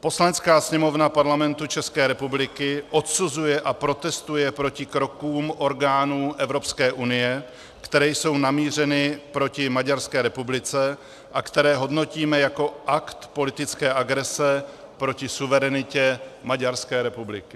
Poslanecká sněmovna Parlamentu České republiky odsuzuje a protestuje proti krokům orgánů Evropské unie, které jsou namířeny proti Maďarské republice a které hodnotíme jako akt politické agrese proti suverenitě Maďarské republiky.